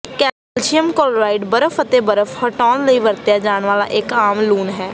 calcium chloride ਬਰਫ਼ ਅਤੇ ਬਰਫ਼ ਹਟਾਉਣ ਲਈ ਵਰਤਿਆ ਜਾਣ ਵਾਲਾ ਇੱਕ ਆਮ ਲੂਣ ਹੈ